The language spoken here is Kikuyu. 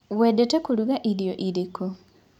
Wendete kũruga irio ĩrĩkũ?